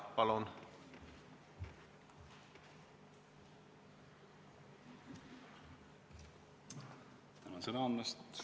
Palun!